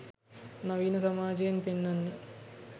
නවීන සමාජෙයෙන් පෙන්නන්නෙ.